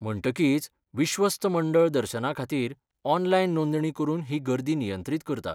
म्हणटकीच, विश्वस्त मंडळ दर्शनाखातीर ऑनलायन नोंदणी करून ही गर्दी नियंत्रीत करता.